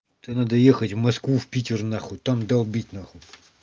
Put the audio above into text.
это надо ехать в москву в питер нахуй там долбить нахуй